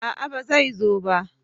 a'a ba zai zo ba